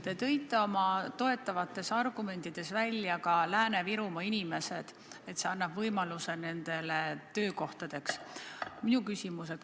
Te tõite oma toetavates argumentides välja ka Lääne-Virumaa inimesed, et see annab võimaluse, et neil on töökohad.